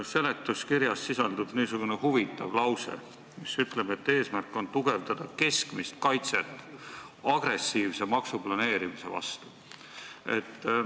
Seletuskirjas sisaldub niisugune huvitav lause, et eesmärk on tugevdada keskmist kaitset agressiivse maksuplaneerimise vastu.